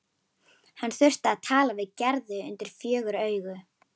Hann þurfti að tala við Gerði undir fjögur augu.